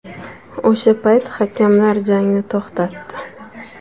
O‘sha payt hakamlar jangni to‘xtatdi.